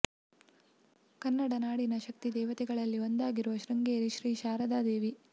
ಕನ್ನಡ ನಾಡಿನ ಶಕ್ತಿ ದೇವತೆಗಳಲ್ಲಿ ಒಂದಾಗಿರುವುದು ಶೃಂಗೇರಿ ಶ್ರೀ ಶಾರದಾ ದೇವಿ